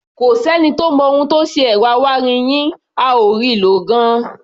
Kò sẹ́ni tó mọ ohun tó ṣe ẹ̀rọ awáirin yín, a ò rí i lò gan-an.